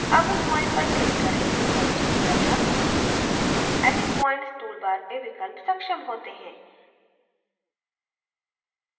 अब उस points पर click करें जो प्रविष्ट किया था edit points टूल बार में विकल्प सक्षम होते हैं